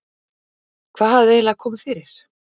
Hvað hafði eiginlega komið fyrir?